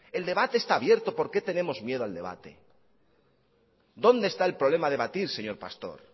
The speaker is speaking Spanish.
el debate está abierto por qué tenemos miedo al debate dónde está el problema a debatir señor pastor